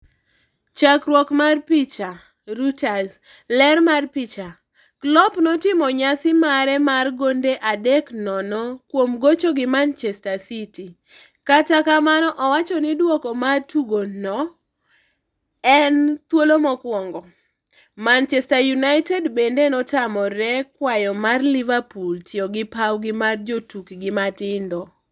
Chakruok mar picha, Reuters. Ler mar picha, Klopp notimo nyasi mare mar gonde 3-0 kuom gocho gi Manchester City ,Kata kamano owacho ni duoko mar tugo no en "thuolo mokwongo" Manchester United bende notamore kwayo mar Liverpool tiyo gi pawgi mar jotukgi matindo